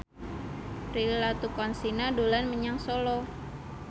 Prilly Latuconsina dolan menyang Solo